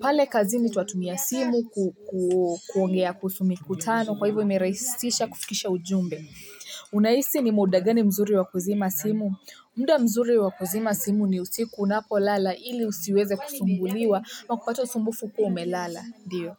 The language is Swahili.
Pale kazini twatumia simu ku ku kuongea kuhusu mikutano. Kwa hivyo imeraisisha kufikisha ujumbe. Unahisi ni muda gani mzuri wa kuzima simu? Muda mzuri wa kuzima simu ni usiku unapolala ili usiweze kusumbuliwa, au kupata usumbufu ukuwa umelala, ndio.